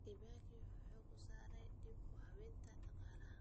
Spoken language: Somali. Kibaki wuxuu xooga saaray dib u habaynta dhaqaalaha.